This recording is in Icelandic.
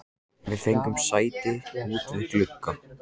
Við fengum sæti út við glugga.